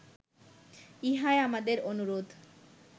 ইহাই আমাদের অনুরোধ